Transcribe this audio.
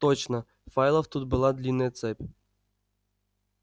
точно файлов тут была длинная цепь